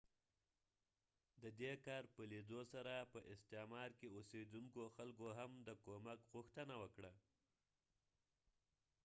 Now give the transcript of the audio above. ددې کار په لیدو سره په استعمار کې اوسیدونکو خلکو هم د کومک غوښتنه کړې